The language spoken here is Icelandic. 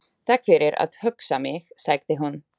Takk fyrir að hugga mig- sagði hún.